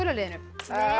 liðinu